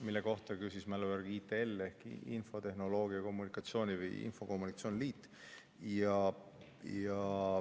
Selle kohta küsis mälu järgi ITL ehk Eesti Infotehnoloogia ja Telekommunikatsiooni Liit.